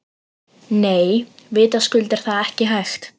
Nei, vitaskuld er það ekki hægt.